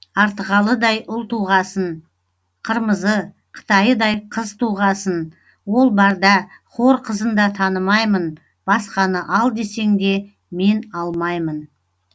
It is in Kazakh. артығалыдай ұл туғасын қырмызы қытайыдай қыз туғасын ол барда хор қызын да танымаймын басқаны ал десең де мен алмаймын